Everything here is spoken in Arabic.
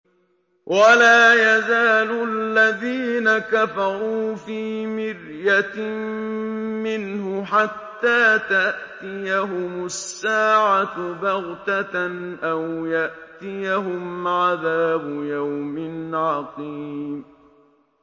وَلَا يَزَالُ الَّذِينَ كَفَرُوا فِي مِرْيَةٍ مِّنْهُ حَتَّىٰ تَأْتِيَهُمُ السَّاعَةُ بَغْتَةً أَوْ يَأْتِيَهُمْ عَذَابُ يَوْمٍ عَقِيمٍ